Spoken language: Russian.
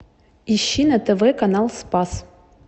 ищи на тв канал спас